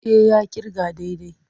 E, ya ƙirga daidai.